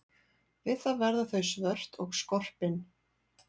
Við það verða þau svört og skorpin.